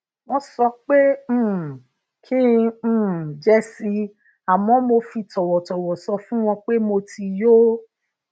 wón sọ pé um kí n um jẹ si àmó mo fi tòwòtòwò sọ fún wọn pé mo ti yó